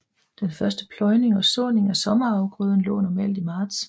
Den første pløjning og såning af sommerafgrøden lå normalt i marts